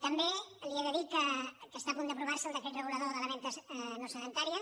també li he de dir que està a punt d’aprovar se el decret regulador de la venda no sedentària